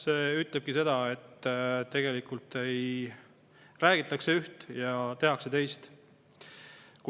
See ütleb seda, et tegelikult räägitakse üht ja tehakse teist.